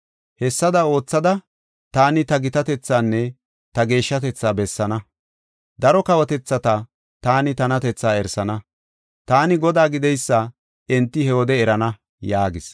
Hessada oothada, taani ta gitatethaanne ta geeshshatetha bessaana. Daro kawotethata taani tanatethaa erisana. Taani Godaa gideysa enti he wode erana’ ” yaagis.